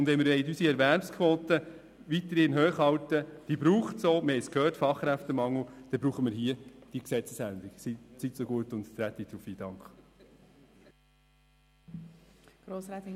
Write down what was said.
Wenn wir die Erwerbsquote weiterhin hoch halten wollen – diese braucht es wegen des Fachkräftemangels, wir haben es gehört –, braucht es hier diese Gesetzesänderung.